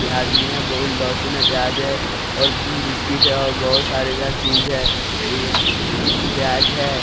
र आदमी है बहुत लहसुन है प्याज है और बिस्किट है और बहुत सारे सारे चीज है यहां प्याज है।